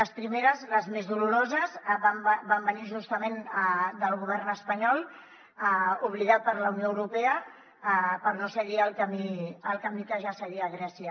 les primeres les més doloroses van venir justament del govern espanyol obligat per la unió europea per no seguir el camí que ja seguia grècia